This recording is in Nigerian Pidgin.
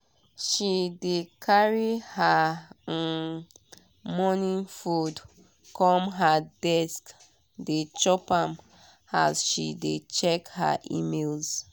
she dey carry her um morning food come her desk dey chop am as she dey check her emails.